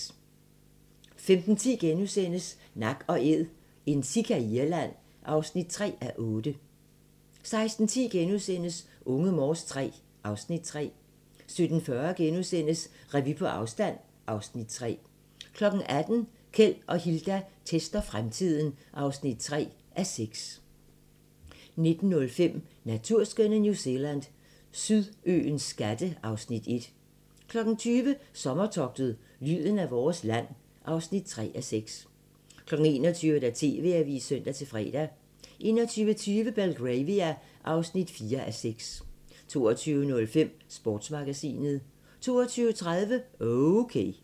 15:10: Nak & Æd - en sika i Irland (3:8)* 16:10: Unge Morse III (Afs. 3)* 17:40: Revy på afstand (Afs. 3)* 18:00: Keld og Hilda tester fremtiden (3:6) 19:05: Naturskønne New Zealand: Sydøens skatte (Afs. 1) 20:00: Sommertogtet – lyden af vores land (3:6) 21:00: TV-avisen (søn-fre) 21:20: Belgravia (4:6) 22:05: Sportsmagasinet 22:30: Okay